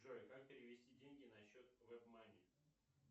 джой как перевести деньги на счет вебмани